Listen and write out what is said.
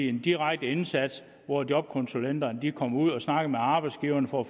en direkte indsats hvor jobkonsulenterne kommer ud og snakker med arbejdsgiverne for at